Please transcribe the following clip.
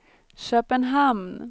Köpenhamn